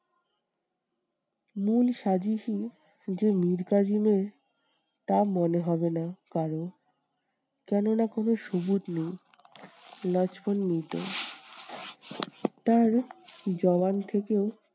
মূল সাজিসই যে মীর কাসিমের তা মনে হবে না কারোর। কেন না কোনো নেই লক্ষ্মণ নিজে তার থেকে